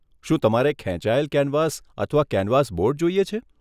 શું તમારે ખેંચાયેલ કેનવાસ અથવા કેનવાસ બોર્ડ જોઈએ છે?